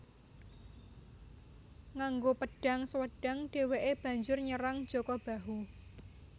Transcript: Nganggo pedhang Swedhang dheweke banjur nyerang Jaka Bahu